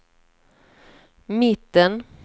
mitten